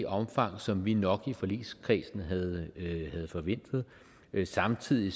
omfang som vi nok i forligskredsen havde forventet samtidig